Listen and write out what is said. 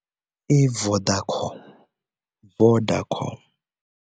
I Vodacom Vodacom.